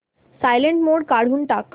silent mode काढून टाक